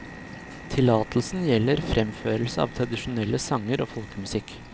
Tillatelsen gjelder fremførelse av tradisjonelle sanger og folkemusikk.